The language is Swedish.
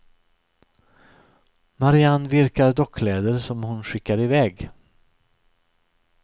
Marianne virkar dockkläder som hon skickar iväg.